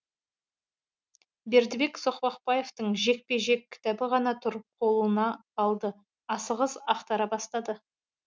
бердібек соқпақбаевтың жекпе жек кітабы ғана тұр қолына алды асығыс ақтара бастады